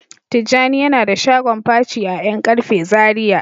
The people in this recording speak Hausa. Tijjani yana da shagon paci a yan karfe Zaria.